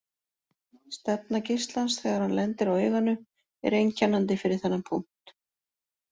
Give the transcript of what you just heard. Stefna geislans þegar hann lendir á auganu er einkennandi fyrir þennan punkt.